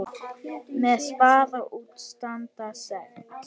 Með spaða út standa sex.